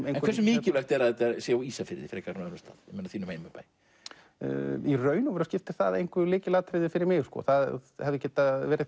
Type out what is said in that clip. en hversu mikilvægt er að þetta sé á Ísafirði frekar en öðrum stað þínum heimabæ í raun skiptir það engu lykilatriði fyrir mig það hefði getað verið